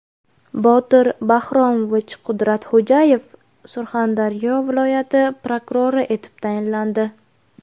Botir Bahromovich Qudratxo‘jayev Surxondaryo viloyati prokurori etib tayinlandi.